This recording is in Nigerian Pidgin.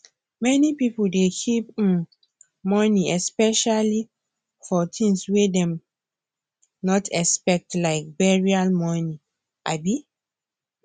many pipo dey keep um moni specially for tins wey dem not xpect like burial moni um